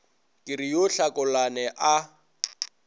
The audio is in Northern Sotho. ke re yo tlhakolane a